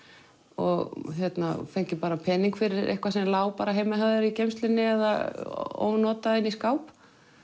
og fengið pening fyrir eitthvað sem lá heima hjá þér í geymslunni eða ónotað inni í skáp